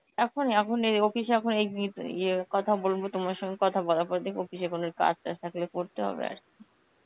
এখন? এখন এই office এখন এই ইয়ে কথা বলবো তোমার সঙ্গে কথা বলার পর দেখব কিসে কোন কাজটাজ থাকলে করতে হবে আর কি.